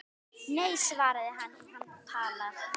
Nei svaraði hann, hún talar